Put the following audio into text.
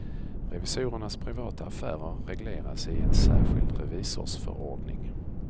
Revisorernas privata affärer regleras i en särskild revisorsförordning.